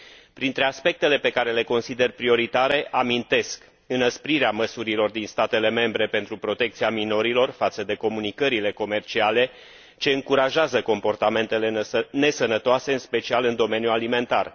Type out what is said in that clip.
Printre aspectele pe care le consider prioritare amintesc înăsprirea măsurilor din statele membre pentru protecția minorilor față de comunicările comerciale ce încurajează comportamentele nesănătoase, în special în domeniul alimentar.